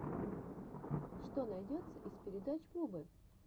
что найдется из передач бубы